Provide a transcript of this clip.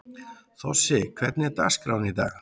Þossi, hvernig er dagskráin í dag?